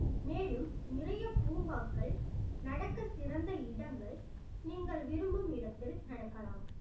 மேலும் நிறைய பூங்காக்கள் நடக்க சிறந்த இடங்கள் நீங்கள் விரும்பும் இடத்தில் நடக்கலாம்